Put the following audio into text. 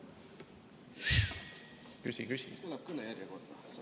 Võib küsida, jah?